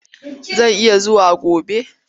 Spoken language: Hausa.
Zan iya zuwa gobe.